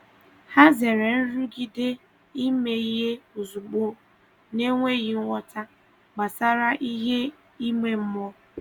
Hà zèrè nrụgide ime ihe ozugbo n’enweghị nghọta gbasàra ihe ime mmụọ.